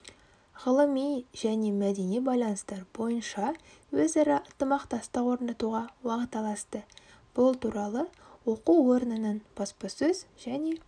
ғылыми және мәдени байланыстар бойынша өзара ынтымақтастық орнатуға уағдаласты бұл туралы оқу орнының баспасөз және